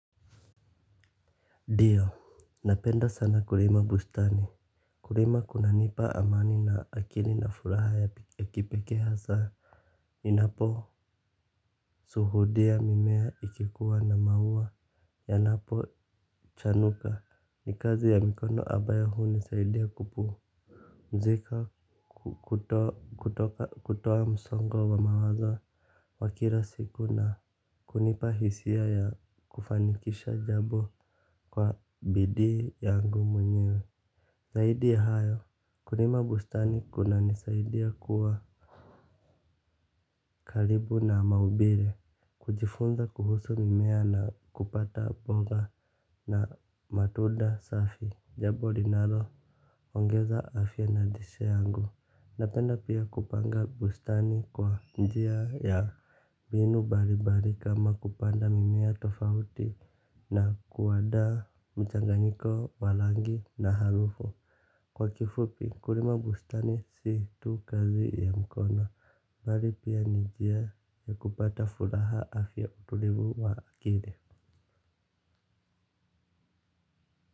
Dio, napenda sana kulima bustani. Kulima kunanipa amani na akili na furaha ya kipeke sana. Ninapo suhudia mimea ikikuwa na maua yanapo chanuka. Ni kazi ya mikono ambayo hunisaidia kupu mzika kutoa msongo wa mawazo wa kila siku na kunipa hisia ya kufanikisha jabo kwa bidii yangu mwenyewe zaidi ya hayo, kulima bustani kunanisaidi ya kuwa karibu na maubire. Kujifunza kuhusu mimea na kupata boga na matunda safi. Jabo linalo, ongeza afya na lishe yangu. Napenda pia kupanga bustani kwa njia ya mbinu balibali kama kupanda mimea tofauti na kuwadaa mchanganyiko wa langi na harufu. Kwa kifupi kulima bustani si tu kazi ya mkona. Mbali pia ni jia ya kupata furaha afya utulivu wa akili.